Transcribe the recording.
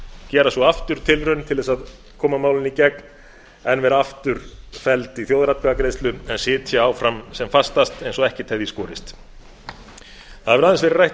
gera svo aftur tilraun til að koma málinu í gegn en verða aftur felld í þjóðaratkvæðagreiðslu en sitja áfram sem fastast eins og ekkert hefði í skorist það hefur aðeins verið rædd